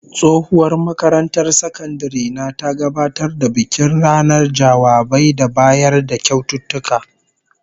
Tsohuwar makarantar sakandare na ta gabatar da bikin ranar jawabai da bayar da kyaututtuka